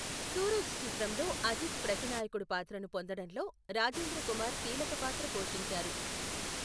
సూరజ్ చిత్రంలో అజిత్ ప్రతినాయకుడు పాత్రను పొందడంలో రాజేంద్ర కుమార్ కీలక పాత్ర పోషించారు.